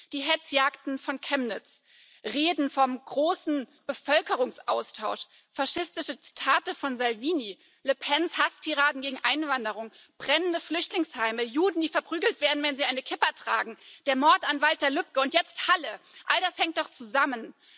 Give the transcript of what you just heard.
Die Hetzjagden von Chemnitz, Reden vom großen Bevölkerungsaustausch, faschistische Zitate von Salvini, Le Pens Hasstiraden gegen Einwanderung, brennende Flüchtlingsheime, Juden, die verprügelt werden, wenn sie eine Kippa tragen, der Mord an Walter Lübcke, und jetzt Halle all das hängt doch zusammen.